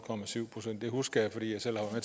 procent det husker jeg fordi jeg selv har